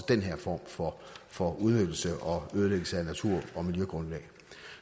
den her form for for udnyttelse og ødelæggelse af natur og miljøgrundlag